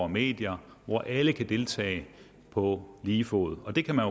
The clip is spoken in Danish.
medier og alle kan deltage på lige fod og det kan man